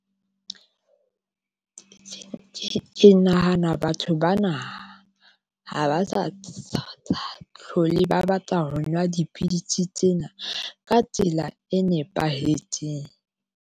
Ke nahana batho bana ha ba sa tshaba hlole ba batla ho nwa dipidisi tsena ka tsela e nepahetseng.